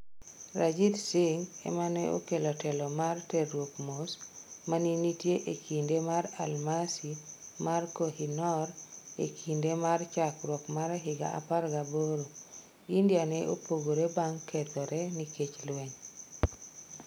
Ranjit Singh ameneokelo telo mar terruok mos mane nitie e kinde mar Almasi mar Koh-i-Noor e kinde mar chakruok mar higa 18. India ne opogore bang kethore nikech lweny